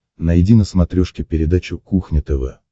найди на смотрешке передачу кухня тв